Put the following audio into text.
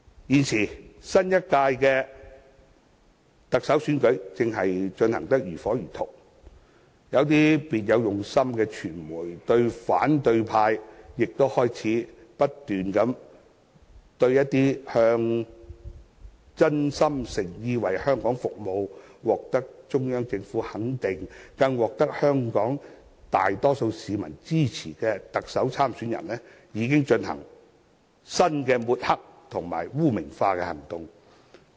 現時新一屆的特首選舉正進行得如火如荼，有些別有用心的傳媒及反對派亦開始不斷對某些真心誠意為香港服務，獲得中央政府肯定，更得到香港大多數市民支持的特首參選人，進行新的抹黑及污名化行動。